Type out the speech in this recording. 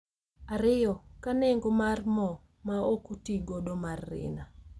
ariyo, ka nengo mar mo ma ok otigodo mar Rina